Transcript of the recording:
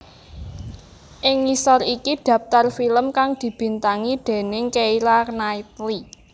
Ing ngisor iki dhaptar film kang dibintangi déning Keira Knightley